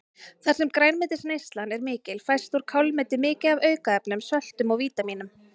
Þar sem grænmetisneyslan er mikil fæst úr kálmeti mikið af aukaefnum, söltum og vítamínum.